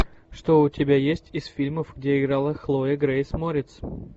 что у тебя есть из фильмов где играла хлоя грейс морец